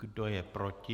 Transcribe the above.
Kdo je proti?